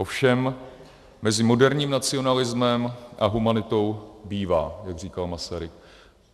Ovšem mezi moderním nacionalismem a humanitou bývá, jak říkal Masaryk.